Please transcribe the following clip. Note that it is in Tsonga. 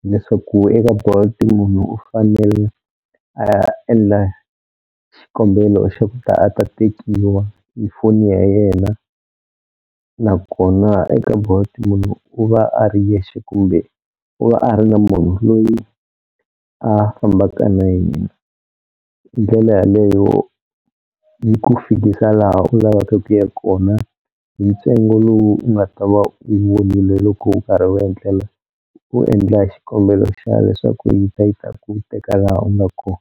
hileswaku eka Bolt munhu u fanele a ya endla xikombelo xa kuta a ta tekiwa hi foni ya yena, nakona eka Bolt munhu u va a ri yexe kumbe u va a ri na munhu loyi a fambaka na yena. Hi ndlela yaleyo yi ku fikisa laha u lavaka ku ya kona hi ntsengo lowu u nga ta va u vonile loko u karhi u endlela u endla xikombelo xa leswaku yi ta yi ta ku teka laha u nga ko.